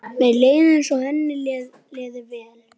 Gloría, hversu margir dagar fram að næsta fríi?